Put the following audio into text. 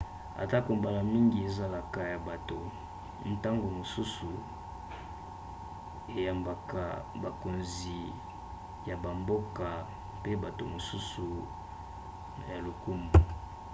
atako mbala mingi ezalaka ya bato ntango mosusu eyambaka bakonzi ya bamboka pe bato mosusu ya lokumu